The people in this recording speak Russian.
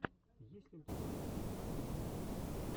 есть ли у тебя лучшая часть кьюбайта